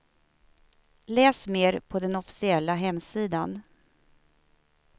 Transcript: Läs mer på den officiella hemsidan.